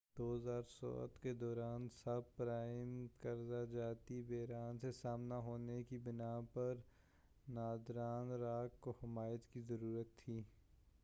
2007 کے دوران subprime قرضہ جاتی بحران سے سامنا ہونے کی بنا پر ناردرن راک کو حمایت کی ضرورت تھی